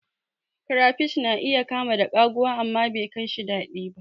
Crayfish na iya kama da kaguwa, amma bekaishi daɗi ba.